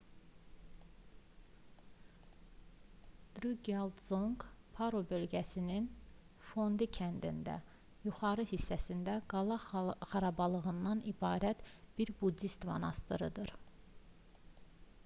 drukqyal dzonq paro bölgəsinin fondi kəndində yuxarı hissəsində qala xarabalığından ibarət bir buddist monastırıdır